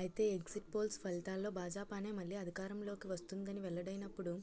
అయితే exit polls ఫలితాల్లో భాజపానే మళ్లీ అధికారంలోకి వస్తుందని వెల్లడైనప్పుడు